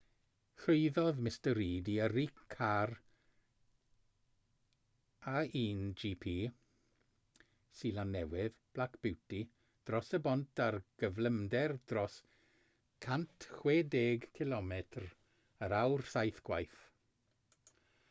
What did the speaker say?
llwyddodd mr reid i yrru car a1gp seland newydd black beauty dros y bont ar gyflymder dros 160km yr awr saith gwaith